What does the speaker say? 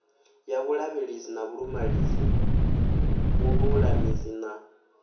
ya vhulavhelesi ha vhululamisi na